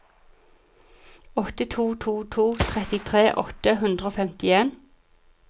åtte to to to trettitre åtte hundre og femtien